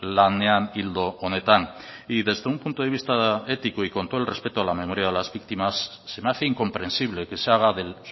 lanean ildo honetan y desde un punto de vista ético y con todo el respeto a la memoria de las víctimas se me hace incomprensible que se haga del